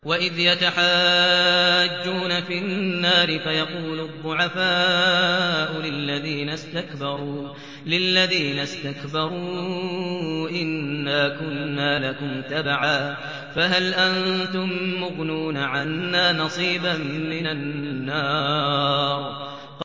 وَإِذْ يَتَحَاجُّونَ فِي النَّارِ فَيَقُولُ الضُّعَفَاءُ لِلَّذِينَ اسْتَكْبَرُوا إِنَّا كُنَّا لَكُمْ تَبَعًا فَهَلْ أَنتُم مُّغْنُونَ عَنَّا نَصِيبًا مِّنَ النَّارِ